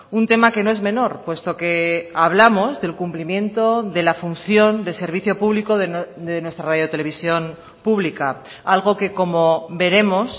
un tema que no es menor puesto que hablamos del cumplimiento de la función de servicio público de nuestra radio televisión pública algo que como veremos